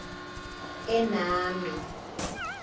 enami